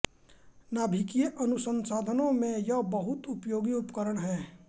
नाभिकीय अनुसंधानों में यह बहुत उपयोगी उपकरण है